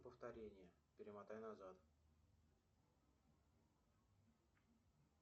повторение перемотай назад